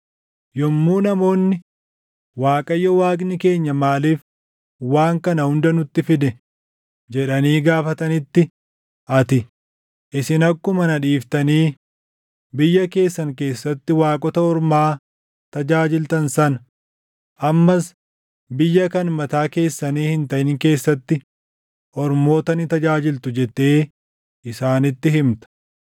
“Yommuu namoonni, ‘ Waaqayyo Waaqni keenya maaliif waan kana hunda nutti fide?’ jedhanii gaafatanitti, ati, ‘Isin akkuma na dhiiftanii biyya keessan keessatti waaqota ormaa tajaajiltan sana, ammas biyya kan mataa keessanii hin taʼin keessatti ormoota ni tajaajiltu’ jettee isaanitti himta.